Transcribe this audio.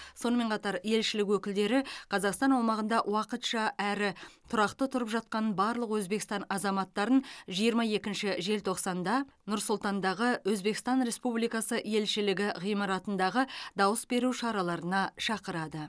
сонымен қатар елшілік өкілдері қазақстан аумағында уақытша әрі тұрақты тұрып жатқан барлық өзбекстан азаматтарын жиырма екінші желтоқсанда нұр сұлтандағы өзбекстан республикасы елшілігі ғимаратындағы дауыс беру шараларына шақырады